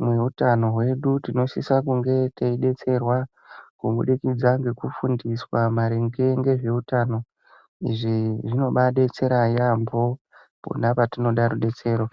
mwe utano hwedu tinosisa kunge tei detserwa ku budikidza ngeku fundiswa maringe ngezve utano izvi zvinobai detsera yambo pona pa tinoda rudetsero.